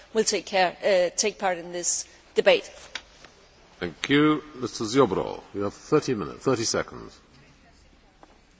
W dokumencie wskazuje się, że zasadnicze znaczenie dla osiągnięcia nowego celu redukcji emisji będzie miało zwiększenie redukcji w Europie Środkowo Wschodniej.